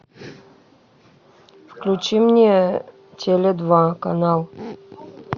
включи мне теле два канал